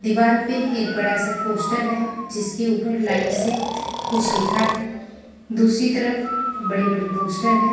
दीवार पे एक बड़ा सा पोस्टर है जिसके ऊपर लाइट से कुछ लिखा है दूसरी तरफ बड़े-बड़े पोस्टर हैं।